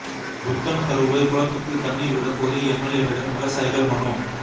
புத்தன்தருவை குளத்துக்கு தண்ணீா் விட கோரி எம்எல்ஏவிடம் விவசாயிகள் மனு